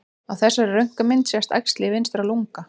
Á þessari röntgenmynd sést æxli í vinstra lunga.